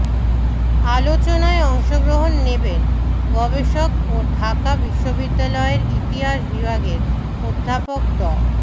আলোচনায় অংশগ্রহণ নেবেন গবেষক ও ঢাকা বিশ্ববিদ্যালয়ের ইতিহাস বিভাগের অধ্যাপক ড